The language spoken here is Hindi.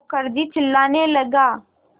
मुखर्जी चिल्लाने लगा